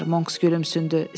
Monks gülümsündü.